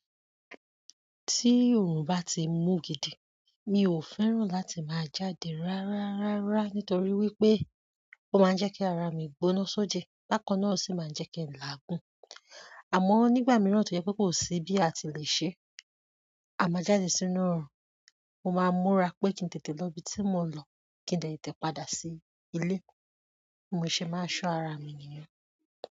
Tí òrùn bá ti mú gidi, mi ò fẹ́ràn láti máa jáde rárárárá nítorí wípé ó máa ń jẹ́ kí ara mi gbóná sóje. Bákan náà o sì máa ń jẹ́ kí n làágùn. Àmọ́ nígbà mìíràn tó jẹ́ pé kò sí bí a ti lè ṣe, a máa jáde sínú òrùn. Mo máa ń múra pé kí n tètè lọ ibi tí mo ń lọ, kí n tètè padà sí ilé, mo sì máa ṣọ́ ara mi nìyẹn.